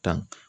Tan